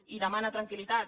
i demana tranquil·litat